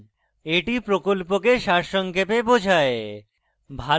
এটি প্রকল্পকে সারসংক্ষেপে বোঝায়